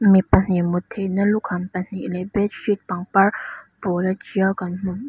mi pahnih mut theihna lukham pahnih leh bedsheet pangpar pawla tial kan hmu--